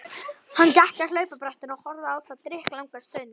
Hann gekk að hlaupabrettinu og horfði á það drykklanga stund.